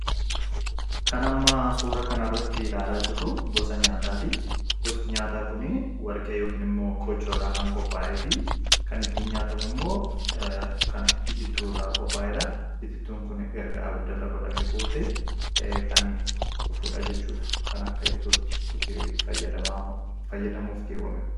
kan ammaa suura kana rratti ilaalaa jirru gosa nyaataa ti gosti nyaataa kun warqee yookiin immoo kochoo irraa kan qopaa'e fi kan ittin nyaatamu immoo kan itittuu irraa qopaa'eedha itittuun kun erga abidda irra godhame booddee kan dhufuudha jechuudha kan akka ittootti itti fayyadamuuf geewwame